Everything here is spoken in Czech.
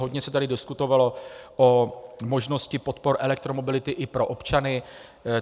Hodně se tady diskutovalo o možnosti podpor elektromobility i pro občany.